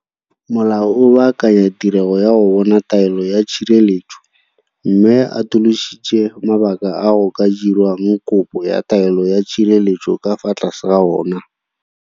Molao o baakanya tirego ya go bona taelo ya tshireletso, mme o atolositse mabaka a go ka dirwang kopo ya taelo ya tshireletso ka fa tlase ga ona.